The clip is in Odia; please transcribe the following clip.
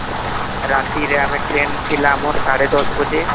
ରାତିରେ ଆମରtrain ଥିଲା ଆମର ସାଡେ ଦଶ ବାଜେ